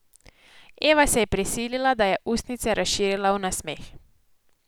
Eva se je prisilila, da je ustnice razširila v nasmeh.